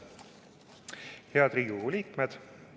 Head Riigikogu liikmed!